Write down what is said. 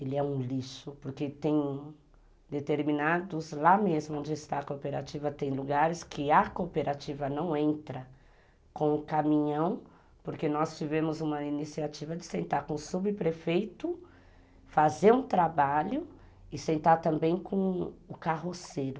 Ele é um lixo, porque tem determinados, lá mesmo onde está a cooperativa, tem lugares que a cooperativa não entra com o caminhão, porque nós tivemos uma iniciativa de sentar com o subprefeito, fazer um trabalho e sentar também com o carroceiro.